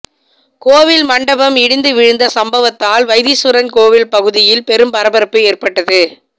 கோவில் மண்டபம் இடிந்து விழுந்த சம்பவத்தால் வைத்தீஸ்வரன் கோவில் பகுதியில் பெரும் பரபரப்பு ஏற்பட்டது